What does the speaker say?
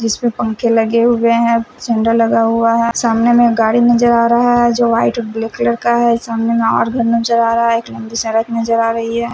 जिसमें पंखे लगे हुए हैं झंडा लगा हुआ है सामने में गाड़ी नजर आ रहा है जो वाइट ब्लैक कलर का है सामने में और घर नजर आ रहा है एक लंबी सड़क नजर आ रही है।